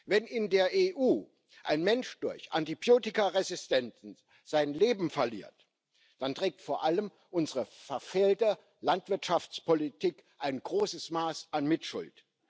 Wenn in der EU ein Mensch durch Antibiotikaresistenzen sein Leben verliert, dann trägt vor allem unsere verfehlte Landwirtschaftspolitik ein großes Maß an Mitschuld.